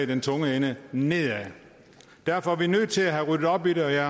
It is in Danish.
den tunge ende nedad derfor er vi nødt til at have ryddet op i det og jeg